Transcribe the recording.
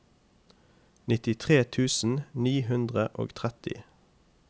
nittitre tusen ni hundre og tretti